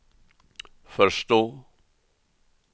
förstå